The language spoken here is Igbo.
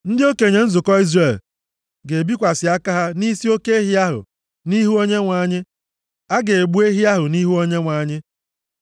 Ndị okenye nzukọ Izrel ga-ebikwasị aka + 4:15 \+xt Lev 8:14,22; Ọnụ 8:8-10\+xt* ha nʼisi oke ehi ahụ nʼihu Onyenwe anyị. A ga-egbu ehi ahụ nʼihu Onyenwe anyị.